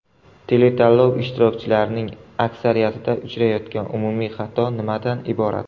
Teletanlov ishtirokchilarining aksariyatida uchrayotgan umumiy xato nimadan iborat?